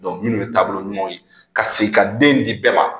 minnu ye taabolo ɲumanw ye ka segin ka den di bɛɛ ma